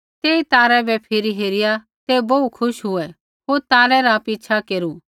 तेई तारै बै फिरी हेरिया ते बोहू खुश हुऐ होर तारै रा पिछ़ा केरू